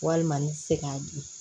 Walima n bɛ se k'a di